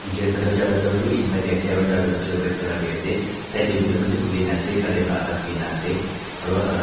Chair khan tuh charta tuh blue in white dae ase aro charta tuh chair red colour dae ase side dae window khan bhi khulina ase curtain toh adah khulina ase aro uhh--